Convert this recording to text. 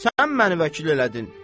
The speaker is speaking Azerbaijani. Sən məni vəkil elədin.